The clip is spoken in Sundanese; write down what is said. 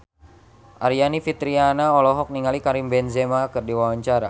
Aryani Fitriana olohok ningali Karim Benzema keur diwawancara